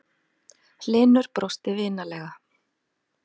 Hlynur brosti vinalega.